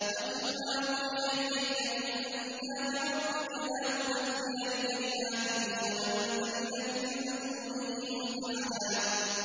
وَاتْلُ مَا أُوحِيَ إِلَيْكَ مِن كِتَابِ رَبِّكَ ۖ لَا مُبَدِّلَ لِكَلِمَاتِهِ وَلَن تَجِدَ مِن دُونِهِ مُلْتَحَدًا